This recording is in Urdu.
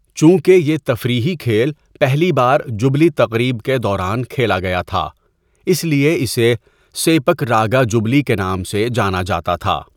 چونکہ یہ تفریحی کھیل پہلی بار جوبلی تقریب کے دوران کھیلا گیا تھا، اس لیے اسے 'سیپک راگا جوبلی' کے نام سے جانا جاتا تھا۔